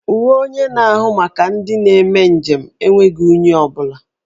Uwe onye na-ahụ maka ndị na-eme njem enweghi unyi ọ bụla.